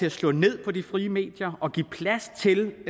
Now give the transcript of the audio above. at slå ned på de frie medier og ikke give plads til